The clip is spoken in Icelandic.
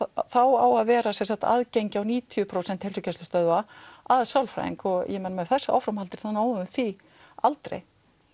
þá á að vera aðgengi á níutíu prósent heilsugæslustöðva að sálfræðing og með þessu áframhaldi þá náum við því aldrei